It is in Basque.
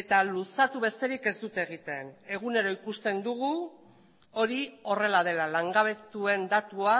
eta luzatu besterik ez dute egiten egunero ikusten dugu hori horrela dela langabetuen datua